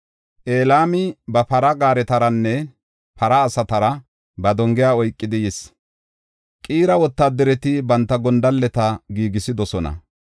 Elaami ba para gaaretaranne para asatara ba dongiya oykidi yis; Qiira wotaadareti banta gondalleta giigisidosona.